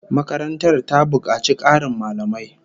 Makarantar ta bukaci Karin mallamai